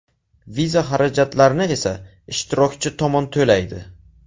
Viza xarajatlarini esa ishtirokchi tomon to‘laydi.